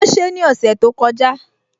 Wọ́n ṣe ní ọ̀sẹ̀ tó kọjá